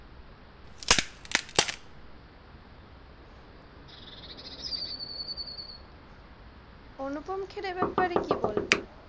আনুপম খের এর বাপারে কি বলবে?